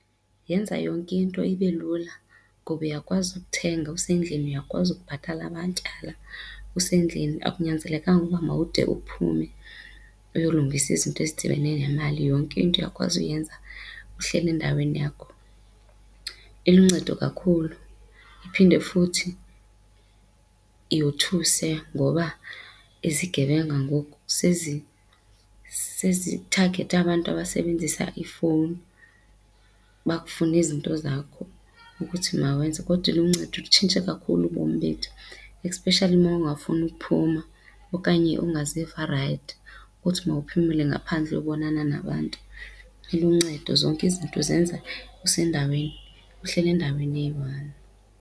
Yenza yonke into ibe lula ngoba uyakwazi ukuthenga usendlini, uyakwazi ukubhatala amatyala usendlini akunyanzelekanga uba mawude uphume uyolungisa izinto ezidibene nemali. Yonke into uyakwazi uyenza uhleli endaweni yakho. Iluncedo kakhulu iphinde futhi yothuse ngoba ezigebenga ngoku sezithagethe abantu abasebenzisa iifowuni bakufune izinto zakho ukuthi mawenze kodwa iluncedo ilutshintshe kakhulu ubomi bethu especially mawungafuni ukuphuma okanye ungaziva rayithi ukuthi mawuphumele ngaphandle ayobonana nabantu. Iluncedo zonke izinto uzenza usendaweni uhleli endaweni eyi-one.